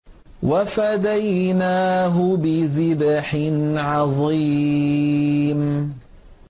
وَفَدَيْنَاهُ بِذِبْحٍ عَظِيمٍ